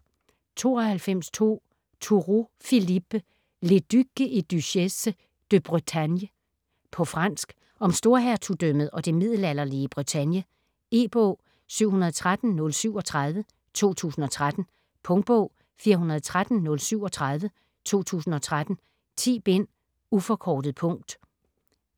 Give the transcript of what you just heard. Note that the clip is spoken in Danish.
92.2 Tourault, Philippe: Les ducs et duchesses de Bretagne På fransk. Om Storhertugdømmet og det middelalderlige Bretagne. E-bog 713037 2013. Punktbog 413037 2013. 10 bind. Uforkortet punkt.